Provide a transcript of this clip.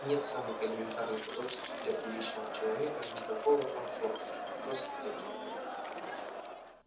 нет самых элементарных удобств для приличного человека никакого комфорта просто-таки